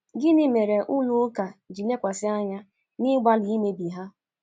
Gịnị mere ụlọ ụka ji lekwasị anya n’ịgbalị imebi ha?